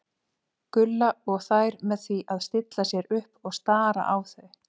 Gulla og þær með því að stilla sér upp og stara á þau.